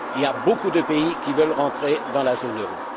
Il y a beaucoup de pays qui veulent rentrer dans la zone euro.